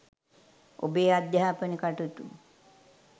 ඔබේ අධ්‍යාපන කටයුතු